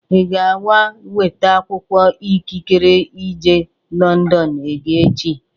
Ị ga-aga weta akwụkwọ ikikere ije Lọndọn gị echi?